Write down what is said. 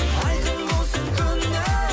айқын болсын көңілің